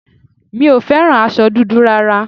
Mi ò fẹ́ràn aṣọ dúdú rárá